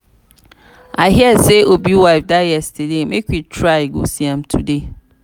i hear say obi wife die yesterday make we try go see am today